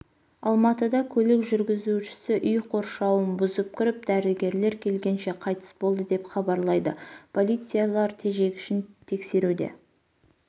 алматыда көлік жүргізушісі үй қоршауын бұзып кіріп дәрігерлер келгенше қайтыс болды деп хабарлайды полициялар тежегішін тексеруде